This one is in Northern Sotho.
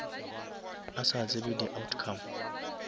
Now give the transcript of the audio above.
a sa tsebe di outcome